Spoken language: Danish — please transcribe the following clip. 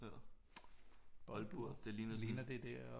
Boldbur det ligner det der